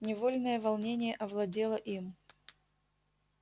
невольное волнение овладело им